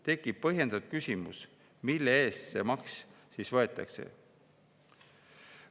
Tekib põhjendatud küsimus: mille eest see maks siis võetakse?